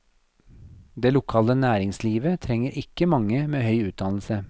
Det lokale næringslivet trenger ikke mange med høy utdannelse.